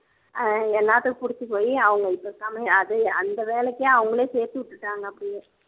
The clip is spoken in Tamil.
ஆஹ் எல்லாத்துக்கும் புடிச்சி போயி அவங்க அந்த வேலைக்கு அவங்களே சேர்த்து விட்டுட்டாங்க அப்படியே